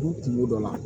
U kungo dɔ la